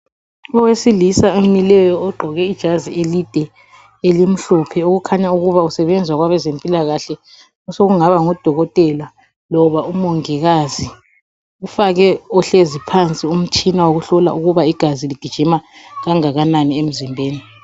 Owesilisa omileyo ogqoke ijazi elide elimhlophe, okukhanya ukuba usebenza kwabazephilakahle. Osekungaba ngudokotela loba umongikazi. Ufake ohlezi phansi umtshina wokuhlola ukuba igazi ligijima kangakanani emzimbeni.